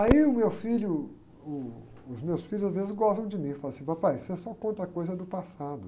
Aí o meu filho, uh, os meus filhos às vezes gostam de mim, falam assim, papai, você só conta coisa do passado.